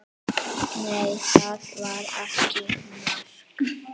Nei, það var ekki mark.